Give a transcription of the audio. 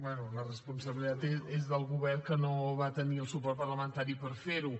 bé la responsabilitat és del govern que no va tenir el suport parlamentari per fer ho